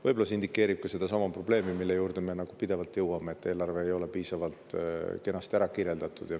Võib-olla see indikeerib sedasama probleemi, mille juurde me pidevalt jõuame, et eelarve ei ole piisavalt kenasti ära kirjeldatud.